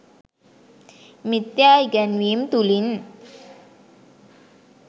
මිථ්‍යා ඉගැන්වීම් තුළින්